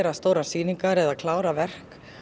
stórar sýningar eða að klára verk